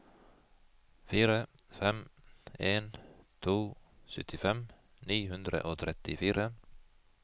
fire fem en to syttifem ni hundre og trettifire